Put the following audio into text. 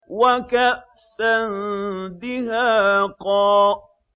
وَكَأْسًا دِهَاقًا